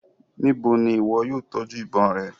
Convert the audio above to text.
Nibo ni iwọ yóò tọju ibon rẹ?